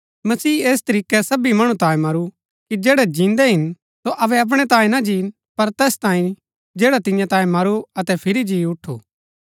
मसीह ऐस तरीकै सबी मणु तांयें मरू कि जैड़ै जिन्दै हिन सो अबै अपणै तांयें ना जीन पर तैस तांयें जैडा तियां तांयें मरू अतै फिरी जी उठु